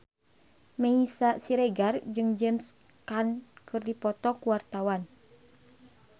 Meisya Siregar jeung James Caan keur dipoto ku wartawan